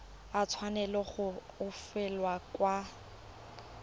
a tshwanela go fetolwa kwa